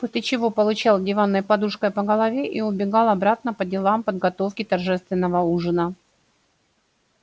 после чего получал диванной подушкой по голове и убегал обратно по делам подготовки торжественного ужина